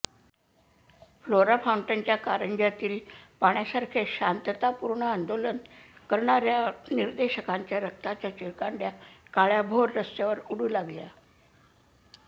flora फाउंटनाच्या कारंज्यातील पाण्यासारखेच शांततापूर्ण आंदोलन करणाऱ्या निदर्शकांच्या रक्ताच्या चिळकांड्या काळ्याभोर रस्त्यावर उडू लागल्या